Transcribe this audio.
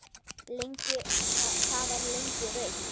Það var lengi rautt.